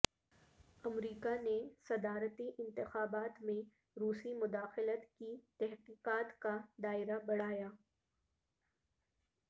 امریکہ نے صدارتی انتخابات میں روسی مداخلت کی تحقیقات کا دائرہ بڑھایا